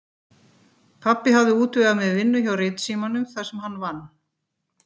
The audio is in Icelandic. Pabbi hafði útvegað mér vinnu hjá Ritsímanum þar sem hann vann.